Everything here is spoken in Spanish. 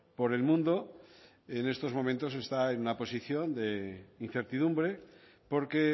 por el mundo en estos momentos está en una posición de incertidumbre porque